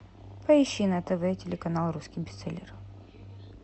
поищи на тв телеканал русский бестселлер